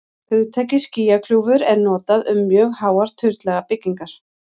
hugtakið skýjakljúfur er notað um mjög háar turnlaga byggingar